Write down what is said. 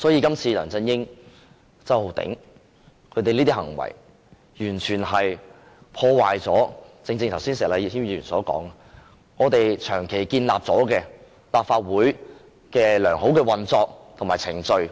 今次梁振英和周浩鼎議員的行為，完全破壞了石禮謙議員剛才說的立法會長期建立的良好運作及程序。